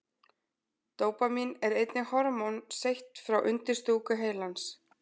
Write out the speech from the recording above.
Dópamín er einnig hormón seytt frá undirstúku heilans.